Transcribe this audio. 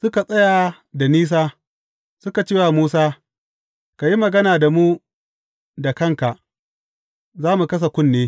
Suka tsaya da nisa suka ce wa Musa, Ka yi magana da mu da kanka, za mu kasa kunne.